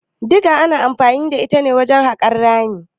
Diga ana anfani da ita wajen haƙa rami.